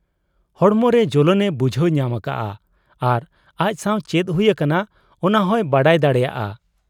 ᱦᱚᱲᱢᱚᱨᱮ ᱡᱚᱞᱚᱱ ᱮ ᱵᱩᱡᱷᱟᱹᱣ ᱧᱟᱢ ᱟᱠᱟᱜ ᱟ ᱟᱨ ᱟᱡ ᱥᱟᱶ ᱪᱮᱫ ᱦᱩᱭ ᱟᱠᱟᱱᱟ ᱚᱱᱟᱦᱚᱸᱭ ᱵᱟᱰᱟᱭ ᱫᱟᱲᱮᱭᱟᱫ ᱟ ᱾